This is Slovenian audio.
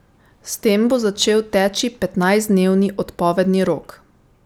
S tem bo začel teči petnajstdnevni odpovedni rok.